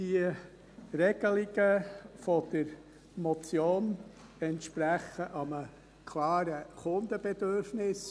Die Regelungen der Motion entsprechen einem klaren Kundenbedürfnis.